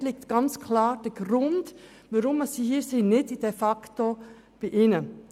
Auch dort liegt der Grund, weshalb diese Leute hier sind, klar nicht bei diesen.